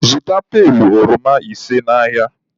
Zụta pailu oroma bise n'ahịa!